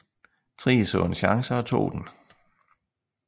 Thrige så en chance og tog den